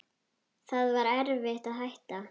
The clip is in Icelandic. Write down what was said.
Það var erfitt að hætta.